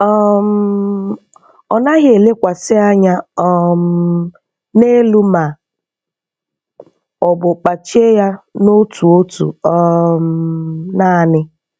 um Ọ naghị elekwasị anya um n'elu ma ọ bu kpachie ya na otu otu um naanị.